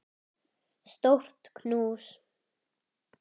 Stórt knús.